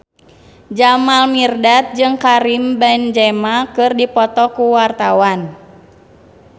Jamal Mirdad jeung Karim Benzema keur dipoto ku wartawan